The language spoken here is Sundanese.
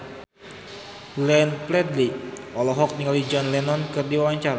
Glenn Fredly olohok ningali John Lennon keur diwawancara